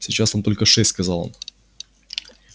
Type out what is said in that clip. сейчас там только шесть сказал он